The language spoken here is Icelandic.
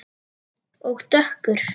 Og dökkur.